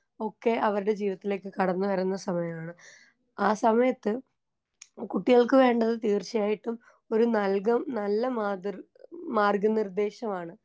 ഒക്കെ അവർടെ ജീവിതത്തിലേക്ക് കടന്ന് വരുന്ന സമയമാണ് ആ സമയത്ത് കുട്ടികൾക്ക് വേണ്ടത് തീർച്ചായിട്ടും ഒരു നൽകം നല്ല മാതൃ നല്ല മാർഗ്ഗനിർദ്ദേശമാണ്.